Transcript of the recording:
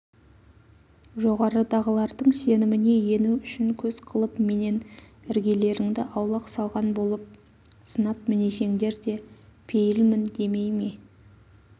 жоғарыдағылардың сеніміне ену үшін көз қылып менен іргелеріңді аулақ салған болып сынап-мінесеңдер де пейілмін демей ме